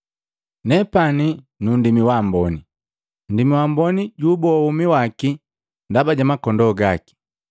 “Neepani nu nndimi waamboni. Nndimi waamboni juuboa womi waki ndaba ja makondoo gaki.